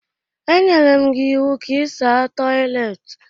E nyere m gị iwu ka ị saa toịletị!